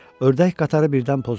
Ördək qatarı birdən pozuldu.